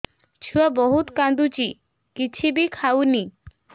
ଛୁଆ ବହୁତ୍ କାନ୍ଦୁଚି କିଛିବି ଖାଉନି